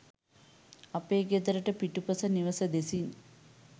අපේ ගෙදරට පිටුපස නිවස දෙසින්